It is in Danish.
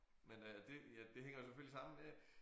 Men øh det ja det hænger jo selvfølgelig sammen med